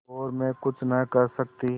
और मैं कुछ नहीं कर सकती